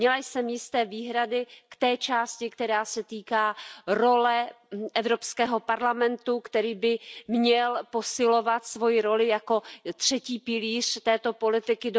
Měla jsem jisté výhrady k té části, která se týká role Evropského parlamentu, který by měl posilovat svoji roli jako třetí pilíř této politiky.